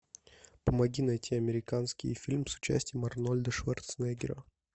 помоги найти американский фильм с участием арнольда шварценеггера